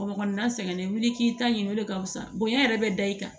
Kɔkɔ kɔnɔna sɛgɛnen wili k'i ta ɲini o de ka fisa bonya yɛrɛ bɛ da i kan